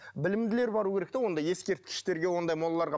білімділер бару керек те онда ескерткіштерге ондай молаларға